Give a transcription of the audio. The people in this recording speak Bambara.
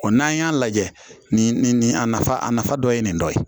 n'an y'a lajɛ nin a nafa a nafa dɔ ye nin dɔ ye